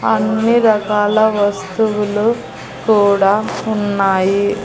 అన్ని రకాల వస్తువులు కూడా ఉన్నాయి.